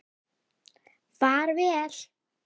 Far vel!